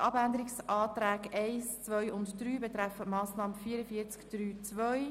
Die Abänderungsanträge 1, 2 und 3 betreffen die Massnahme 44.3.2.